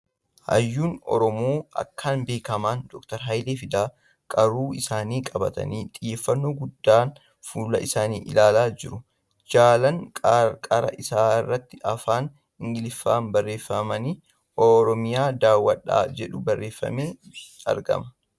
Hayyuun Oromoo akkaan beekamaan Dr. Hayilee Fidaan qaaruu isaanii qabatanii xiyyeeffannoo guddaan fuullee isaanii ilaalaa joru. Jalaan qarqara irraatti afaan Ingiliffaan barreeffamni ' Oromiyaa daawwadhaa ' jedhu barreeffamee argama .